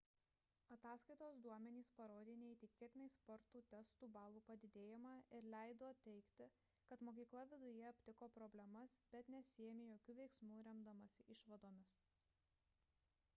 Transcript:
ataskaitos duomenys parodė neįtikėtinai spartų testų balų padidėjimą ir leido teigti kad mokykla viduje aptiko problemas bet nesiėmė jokių veiksmų remdamasi išvadomis